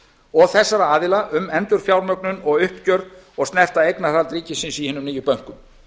og þessara aðila um endurfjármögnun og uppgjör og snerta eignarhald ríkisins í hinum nýju bönkum